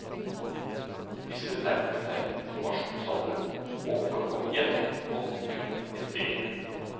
Disse nærmet seg konfirmasjonsalderen, og for å komme igjennom, måtte de kunne en del.